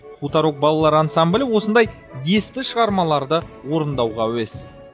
хуторок балалар ансамблі осындай есті шығармаларды орындағанға әуес